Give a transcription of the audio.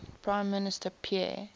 prime minister pierre